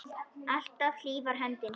Alltaf hlý var höndin þín.